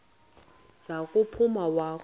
za kuphuma wakhu